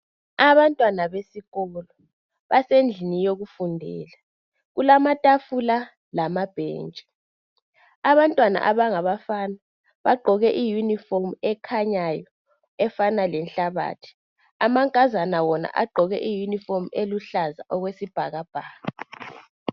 Abantwana besikolo basendlini yokufundela kulamatafula lamabhentshi abantwana abangabafana bagqoke iyunifomu ekhanyayo efana lenhlabathi amankazana wona agqoke iyunifomu eluhlaza okwesibhakabhaka.